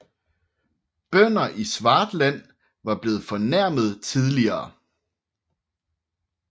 Bønder i Swartland var blevet fornærmet tidligere